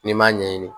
N'i m'a ɲɛɲini